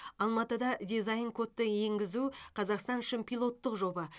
алматыда дизайн кодты енгізу қазақстан үшін пилоттық жоба